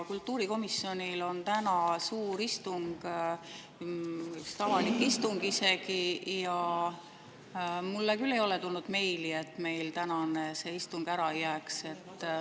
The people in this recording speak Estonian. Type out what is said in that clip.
Kultuurikomisjonil on täna suur avalik istung ja mulle küll ei ole tulnud meili, et tänane istung ära jääks.